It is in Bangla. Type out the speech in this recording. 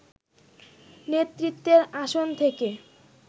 নেতৃত্বের আসন থেকে